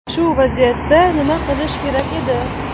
Shu vaziyatda nima qilish kerak edi?